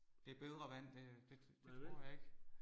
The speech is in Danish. Det er bedre vand det det det tror jeg ikke